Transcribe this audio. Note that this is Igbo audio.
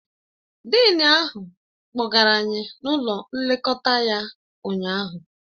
Dịịn ahụ kpọgara anyị n'ụlọ nlekọta ya ụnyaahụ